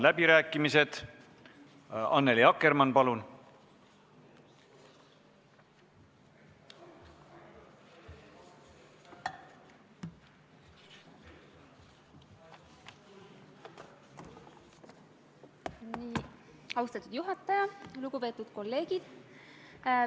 Kas Riigikogu liikmetel on soovi pidada läbirääkimisi?